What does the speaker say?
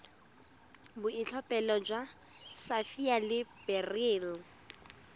boitlhophelo jwa sapphire le beryl